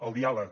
el diàleg